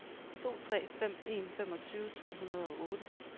to tre fem en femogtyve tre hundrede og otte